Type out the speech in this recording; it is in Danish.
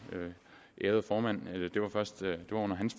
ærede formands